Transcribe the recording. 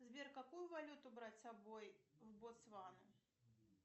сбер какую валюту брать с собой в ботсвана